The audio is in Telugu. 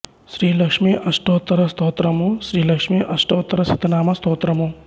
శ్రీ లక్ష్మీ అష్టోత్తర స్తోత్రము శ్రీ లక్ష్మీ అష్టోత్తర శత నామ స్తోత్రము